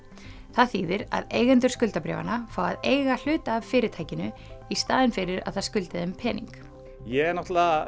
það þýðir að eigendur skuldabréfanna fá að eiga hluta af fyrirtækinu í staðinn fyrir að það skuldi þeim pening ég er